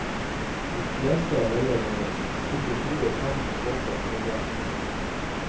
De fleste velger å stikke hodet i sanden og håpe at det går bra.